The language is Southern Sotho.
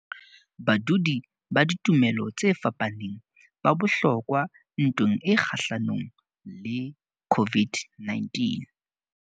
Badudi ba ditumelo tse fapaneng ba bohlokwa ntweng e kgahlanong le COVID-19